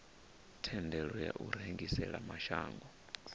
thendelo ya u rengisela mashango